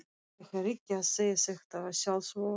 Ég er ekki að segja þetta í sjálfsvörn.